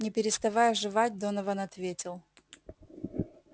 не переставая жевать донован ответил